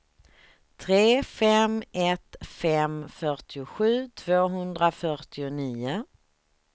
tre fem ett fem fyrtiosju tvåhundrafyrtionio